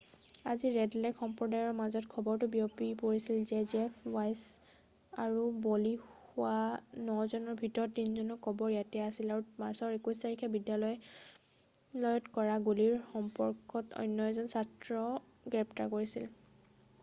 আজি Red Lake সম্প্ৰদায়ৰ মাজত খবৰটো বিয়পি পৰিছিল যে জেফ ৱাইছ আৰু বলি হোৱা নজনৰ ভিতৰত 3জনৰ কবৰ ইয়াত আছিল আৰু মাৰ্চৰ 21 তাৰিখে বিদ্যালয়ত কৰা গুলিৰ সম্পৰ্কত অন্য এজন ছাত্ৰক গ্ৰেপ্তাৰ কৰিছিল